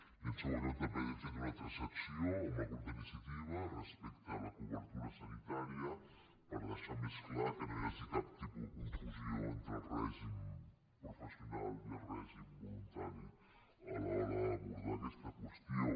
i en segon lloc també hem fet una transacció amb el grup d’iniciativa respecte a la cobertura sanitària per deixar més clar que no hi hagi cap tipus de confusió entre el règim professional i el règim voluntari a l’hora d’abordar aquesta qüestió